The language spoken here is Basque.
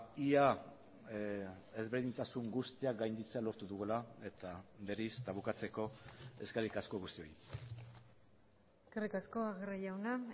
ia ezberdintasun guztiak gainditzea lortu dugula eta berriz eta bukatzeko eskerrik asko guztioi eskerrik asko aguirre jauna